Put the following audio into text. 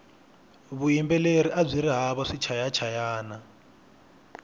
vuyimbeleri abyiri hava swichayachayani